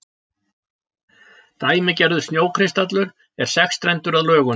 Dæmigerður snjókristallur er sexstrendur að lögum.